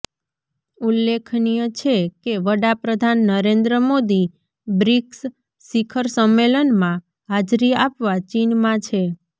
ઉલ્લેખનીય છે કે વડાપ્રધાન નરેન્દ્ર મોદી બ્રિક્સ શિખર સંમેલનમાં હાજરી આપવા ચીનમાં છે